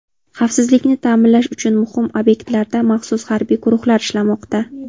Xavfsizlikni ta’minlash uchun muhim obyektlarda maxsus harbiy guruhlar ishlamoqda.